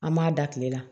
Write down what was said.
An m'a da kile la